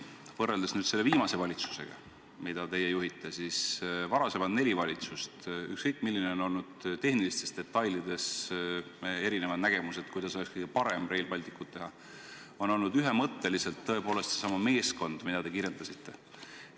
Võrreldes selle viimase valitsusega, mida teie juhite, on varasemad neli valitsust – ükskõik milline on olnud nende nägemus tehnilistes detailides selle kohta, kuidas oleks kõige parem Rail Balticut teha – olnud ühemõtteliselt tõepoolest seesama meeskond, mida te kirjeldasite.